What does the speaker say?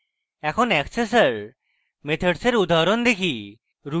এখন accessor methods এর উদাহরণ দেখি